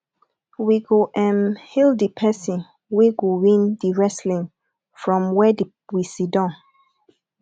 we go um hail di pesin wey go win di wrestling from where we siddon